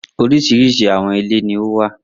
Oríṣiríṣi àwọn ilé ni ó wà.